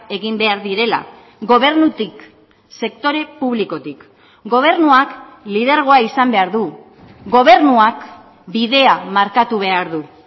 egin behar direla gobernutik sektore publikotik gobernuak lidergoa izan behar du gobernuak bidea markatu behar du